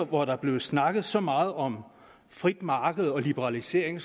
hvor der er blevet snakket så meget om frit marked og liberalisering